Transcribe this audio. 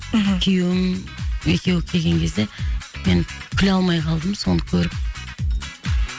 мхм күйеуім екеуі келген кезде мен күле алмай қалдым соны көріп